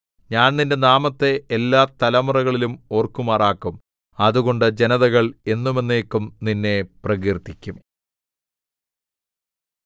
ഞാൻ നിന്റെ നാമത്തെ എല്ലാ തലമുറകളിലും ഓർക്കുമാറാക്കും അതുകൊണ്ട് ജനതകൾ എന്നും എന്നേക്കും നിന്നെ പ്രകീർത്തിക്കും